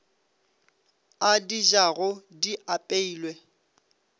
a di jago di apeilwe